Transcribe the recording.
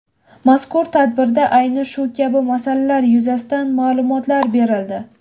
Mazkur tadbirda ayni shu kabi masalalar yuzasidan ma’lumotlar berildi.